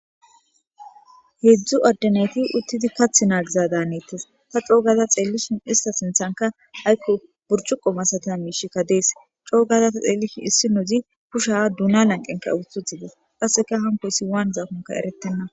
Hedzdzu adde nayti uttidi kath naagiza daanettes ta coogaza xeellishin ista sinthanka haykko burchuqo masata miishikka dees coo gaza ta xeelli issi nouzi kusha duna lanqenka uututhidees qasseka hanko issi waan zaakonka erettenna